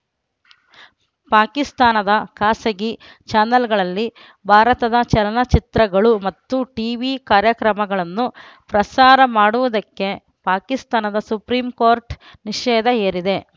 ಪಾಕಿಸ್ತಾನದ ಖಾಸಗಿ ಚಾನೆಲ್‌ಗಳಲ್ಲಿ ಭಾರತದ ಚಲನಚಿತ್ರಗಳು ಮತ್ತು ಟೀವಿ ಕಾರ್ಯಕ್ರಮಗಳನ್ನು ಪ್ರಸಾರ ಮಾಡುವುದಕ್ಕೆ ಪಾಕಿಸ್ತಾನದ ಸುಪ್ರೀಂಕೋರ್ಟ್‌ ನಿಷೇಧ ಹೇರಿದೆ